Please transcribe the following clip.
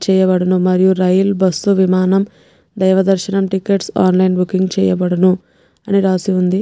చేయబడును మరియు rail bus విమానం దేవదర్షణం టిక్కెట్స్ ఆన్లైన్ బుకింగ్ చేయబడును అని రాశి ఉంది.